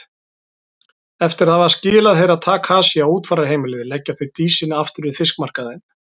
Eftir að hafa skilað Herra Takashi á útfararheimilið leggja þau Dísinni aftur við fiskmarkaðinn.